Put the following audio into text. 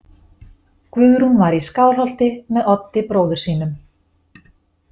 Guðrún var í Skálholti með Oddi bróður sínum.